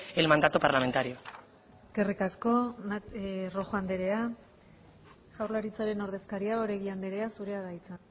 el mandato parlamentario eskerrik asko rojo andrea jaurlaritzaren ordezkaria oregi andrea zurea da hitza